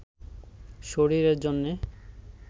শরীরের জন্যে